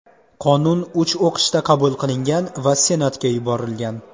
Qonun uch o‘qishda qabul qilingan va Senatga yuborilgan.